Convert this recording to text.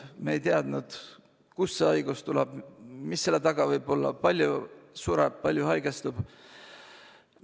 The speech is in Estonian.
Me ei teadnud, kust see haigus tuleb, mis selle taga võib olla, kui palju sureb, kui palju haigestub.